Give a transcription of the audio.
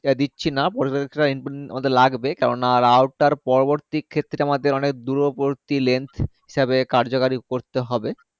দিচ্ছিনা আমাদের লাগবে কেননা router পরবর্তী ক্ষেত্রে আমাদের অনেক দূরবর্তী length হিসাবে কার্যকারী করতে হবে